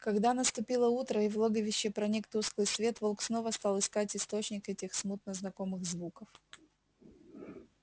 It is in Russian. когда наступило утро и в логовище проник тусклый свет волк снова стал искать источник этих смутно знакомых звуков